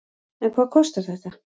En hvað kostar þetta?